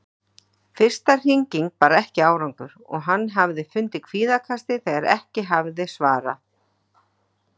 Fyrsta hringing bar ekki árangur og hann hafði fundið kvíðatakið þegar ekki hafði verið svarað.